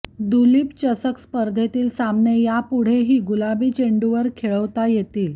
दुलीप चषक स्पर्धेतील सामने यापुढेही गुलाबी चेंडूवर खेळवता येतील